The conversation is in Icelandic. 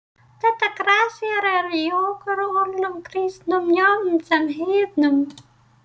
Þetta grassérar í okkur öllum, kristnum jafnt sem heiðnum.